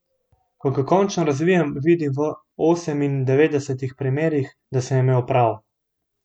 Ko ga končno razvijem, vidim v osemindevetdesetih primerih, da sem imel prav.